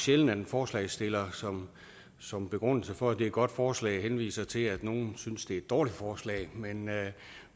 sjældent at en forslagsstiller som som begrundelse for at det er et godt forslag henviser til at nogen synes det er et dårligt forslag